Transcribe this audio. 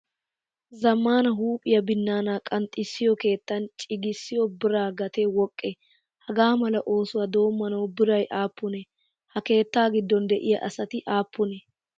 Zamaana huuphpiyaa binaana qanxxisiyo keettan ciigissiyo bira gate woqqee? Hagamala oosuwaa doommanawu biray appune? Ha keetta giddon deiyaa asati appunne?